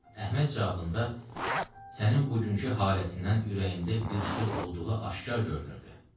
Əhməd cavabında sənin bugünkü halətindən ürəyində bir söz olduğu aşkar görünürdü.